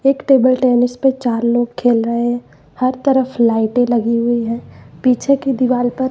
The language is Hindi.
एक टेबल टेनिस पे चार लोग खेल रहे हैं हर तरफ लाइटे लगी हुई है पीछे की दीवाल पर--